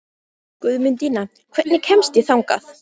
Guðmundína, hvernig kemst ég þangað?